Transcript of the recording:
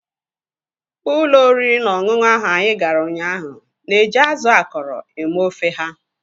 Ụlọ oriri na ọṅụṅụ ahụ anyị gara ụnyaahụ na-eji azụ akọrọ eme ofe ha.